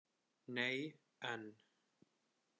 Nei, en.